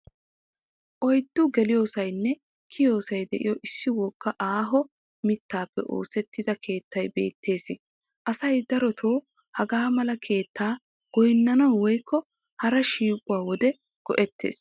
Oyddu geliyoosaynne kiyiyoosay de'iyoo issi wooga aaho mittaappe oosettida keettay beettes. Asay darotoo hagaa mala keettaa goynnanawu woykko haraa shiiquwaa wode go'ettes.